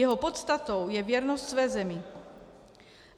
Jeho podstatou je věrnost své zemi.